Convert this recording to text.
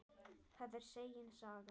Það er segin saga.